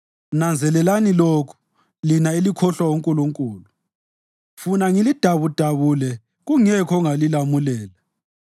Nanzelelani lokhu, lina elikhohlwa uNkulunkulu, funa ngilidabudabule, kungekho ongalilamulela: